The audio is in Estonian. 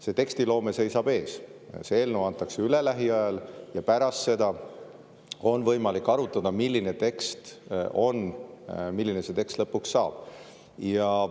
See tekstiloome seisab ees, see eelnõu antakse üle lähiajal ja pärast seda on võimalik arutada, milline tekst on, milliseks see tekst lõpuks saab.